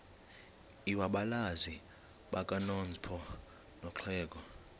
lwabazali bakanozpho nolwexhego